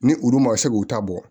Ni olu ma se k'u ta bɔ